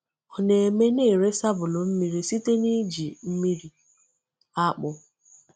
Ọ na-eme na ere sabulu mmiri site n’iji mmiri akpụ.